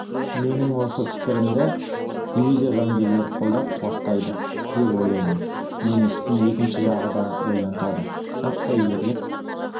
менің осы пікірімді дивизия жауынгерлері қолдап қуаттайды деп ойлаймын мені істің екінші жағы да ойлантады жаппай ерлік